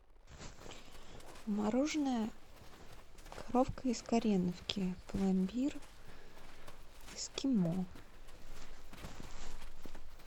мороженное коровка из кореновки пломбир эскимо